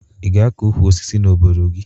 Ị ga-akọ ukwu osisi n'obodo gị?